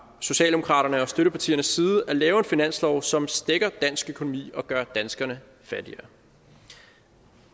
socialdemokraterne og støttepartiernes side at lave en finanslov som stækker dansk økonomi og gør danskerne fattigere